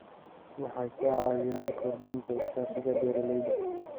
Waxay ka caawiyaan kordhinta iskaashiga beeralayda.